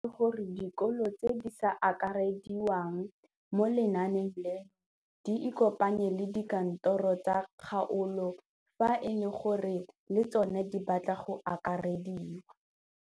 O tlhalositse gore dikolo tse di sa akarediwang mo lenaaneng leno di ikopanye le dikantoro tsa kgaolo fa e le gore le tsona di batla go akarediwa.